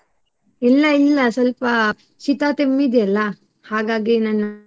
ಇಲ್ಲ ಇಲ್ಲ ಸ್ವಲ್ಪ ಶೀತ ತೆಮ್ಮಿದೆಯಲ್ಲ ಹಾಗಾಗಿ ನಾನು.